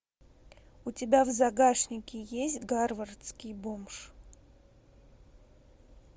у тебя в загашнике есть гарвардский бомж